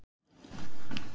Efnajafnan um járnbræðslu: